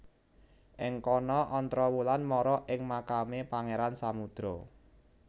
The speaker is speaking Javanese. Ing kono Ontrowulan mara ing makame Pangeran Samudro